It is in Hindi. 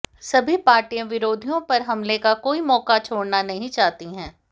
सभी पार्टियां विरोधियों पर हमले का कोई मौका छोड़ना नहीं चाहती हैं